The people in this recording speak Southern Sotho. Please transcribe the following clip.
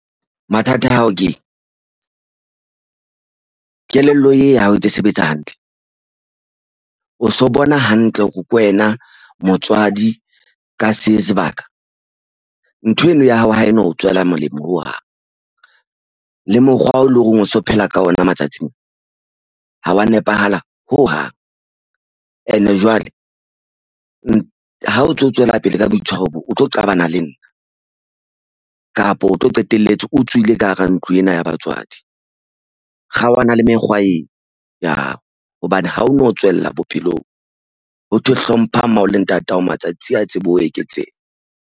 Mathata ao ke kelello e ya ha o e ntse sebetsa hantle o so bona hantle hore ke wena motswadi ka se sebaka ntho eno ya hao ha eno o tswela molemo ho hang le mokgwa o leng hore o so phela ka ona matsatsing ha wa nepahala hohang and-e jwale ha o ntso tswela pele ka boitshwaro bo o tlo qabana le nna kapo o tlo qetelletse o tswile ka hara ntlo ena ya batswadi. Kgaohana le mekgwa ena ya hao hobane ha o no tswella bophelong. Ho thwe hlompha mmao le ntatao matsatsi a tsebe ho eketseha.